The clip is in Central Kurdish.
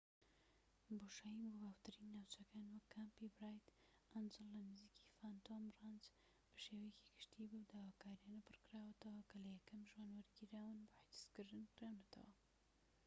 بۆشایی بۆ باوترین ناوچەکان وەک کامپی برایت ئەنجڵ لە نزیکی فانتۆم ڕانچ بە شێوەیەکی گشتی بەو داواکاریانە پڕکراوەتەوە کە لە یەکەم ژوان وەرگیراون بۆ حجزکردن کراونەتەوە